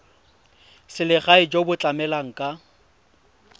selegae jo bo tlamelang ka